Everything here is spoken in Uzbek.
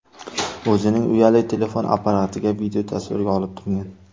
o‘zining uyali telefon apparatiga videotasvirga olib turgan.